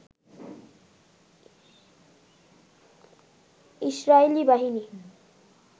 Israeli বাহিনী